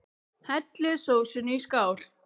Hellið sósunni í skál.